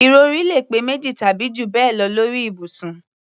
Ìrọ̀rí lè pé méjì tàbí jù bẹ́ẹ̀ lọ lórí ibùsùn